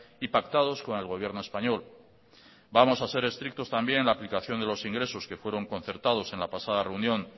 y pactados con el gobierno español vamos a ser estrictos también en la aplicación de los ingresos que fueron concertados en la pasada reunión